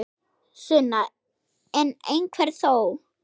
Sunna: En einhver þó?